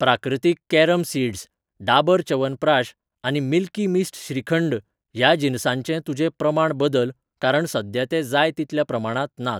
प्राकृतीक carom seeds, Dabur Chyawanprakash आनी Milky Mist shrikhand ह्या जिनसांचे तुजें प्रमाण बदल कारण सद्या ते जाय तितल्या प्रमाणांत नात.